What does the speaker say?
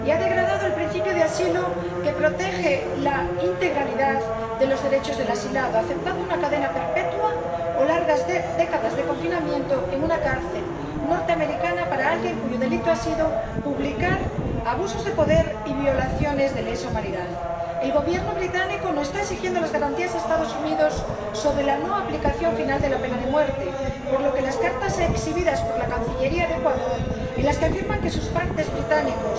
Y ha degradado el principio de asilo que protege la integralidad de los derechos del asilado, aceptando una cadena perpetua o largas décadas de confinamiento en una cárcel norteamericana para alguien cuyo delito ha sido publicar abusos de poder y violaciones de lesa humanidad. El Gobierno británico no está exigiendo las garantías a los Estados Unidos sobre la no aplicación final de la pena de muerte, por lo que las cartas exhibidas por la cancillería de Ecuador, en las que afirman que sus pares británicos